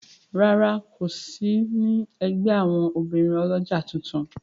ràrá kò ní sí ègbé àwọn obìrin olójà títún.